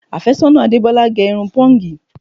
Àfẹ́sọ́nà Adebola gè irun pọ́ǹgì